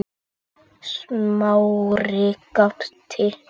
Smári gapti.